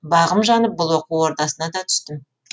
бағым жанып бұл оқу ордасына да түстім